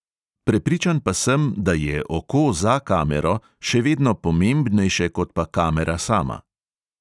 Prepričan pa sem, da je oko za kamero še vedno pomembnejše kot pa kamera sama.